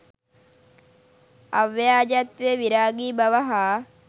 අව්‍යාජත්වය, විරාගී බව හා